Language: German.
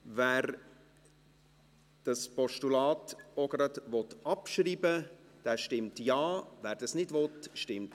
Wer das Postulat auch gleich abschreiben will, stimmt Ja, wer das ablehnt, stimmt Nein.